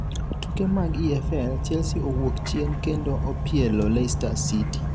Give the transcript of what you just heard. tuke mag EFL: Chelsea owuok chien kendo opielo Leceister City